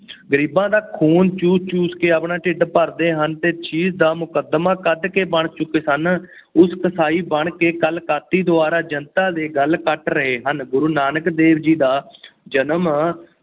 ਗਰੀਬਾਂ ਦਾ ਖੂਨ ਚੂਸ ਚੂਸ ਕੇ ਆਪਣਾ ਢਿੱਡ ਭਰਦੇ ਹਨ ਅਤੇ ਦਾ ਮੁਕੱਦਮਾਂ ਕੱਢ ਕੇ ਬਣ ਚੁੱਕੇ ਸਨ। ਉਸ ਕਸਾਈ ਬਣ ਕੇ ਕਲਕਾਤੀ ਦੁਆਰਾ ਜਨਤਾ ਦੇ ਗਲ ਕੱਟ ਰਹੇ ਹਨ। ਗੁਰੂ ਨਾਨਕ ਦੇਵ ਜੀ ਦਾ ਜਨਮ